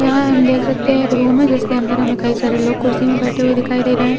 यहाँ हम देख सकते हैं एक रुम है जिसके अंदर हमें कई सारे लोग कुर्सी में बैठे हुए दिखाई दे रहे हैं